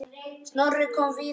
Snorri kom víða við.